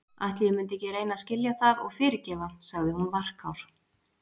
Ætli ég mundi ekki reyna að skilja það og fyrirgefa- sagði hún varkár.